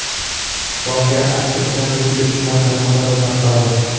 Voqea aks etgan video ijtimoiy tarmoqlarda tarqaldi .